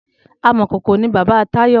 Amòkókó ni bàbá Tayo